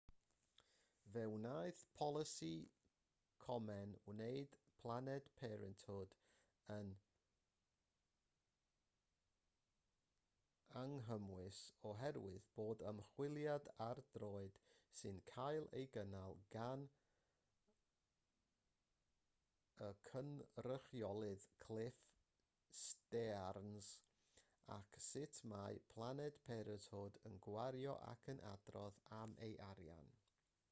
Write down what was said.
fe wnaeth polisi komen wneud planned parenthood yn anghymwys oherwydd bod ymchwiliad ar droed sy'n cael ei gynnal gan y cynrychiolydd cliff stearns ar sut mae planned parenthood yn gwario ac yn adrodd am ei arian